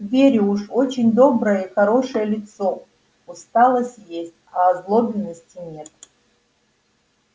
верю уж очень доброе и хорошее лицо усталость есть а озлобленности нет